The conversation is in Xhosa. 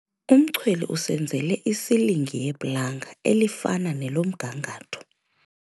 Umchweli usenzele isilingi yeplanga elifana nelomgangatho.